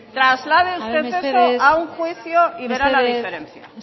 traslade usted eso a un juicio y verá la diferencia